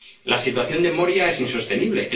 La situación de Moria es insostenible.